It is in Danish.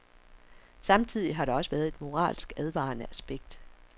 Samtidig har der også været et moralsk advarende aspekt.